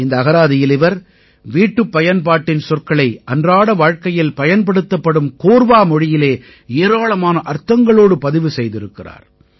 இந்த அகராதியில் இவர் வீட்டுப்பயன்பாட்டின் சொற்களை அன்றாட வாழ்க்கையில் பயன்படுத்தப்படும் கோர்வா மொழியிலே ஏராளமான அர்த்தங்களோடு பதிவு செய்திருக்கிறார்